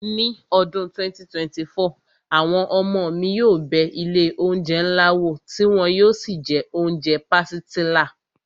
Ní ọdún 2024, àwọn ọmọ mi yóò bẹ ilé oúnjẹ ńlá wò tí wọn yóò sì jẹ oúnjẹ pàsìtílà